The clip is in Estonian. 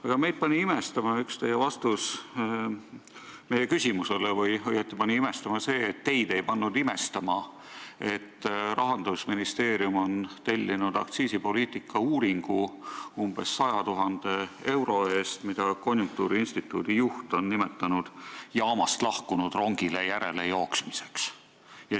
Aga meid pani imestama üks teie vastus meie küsimusele või õieti pani imestama see, et teid ei pannud imestama, et Rahandusministeerium on tellinud umbes 100 000 euro eest aktsiisipoliitika uuringu, mida konjunktuuriinstituudi juht on nimetanud jaamast lahkunud rongile järelejooksmiseks.